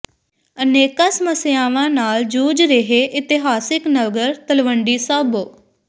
ਅਨੇਕਾਂ ਸਮੱਸਿਆਵਾਂ ਨਾਲ ਜੂਝ ਰਿਹੈ ਇਤਿਹਾਸਕ ਨਗਰ ਤਲਵੰਡੀ ਸਾਬੋ